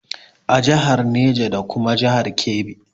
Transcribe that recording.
A jihar Neja da kuma jihar Kebbi